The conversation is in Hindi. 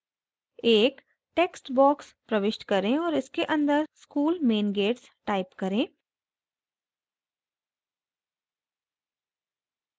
एक text box प्रविष्ट करें और इसके अंदर school main gates type करें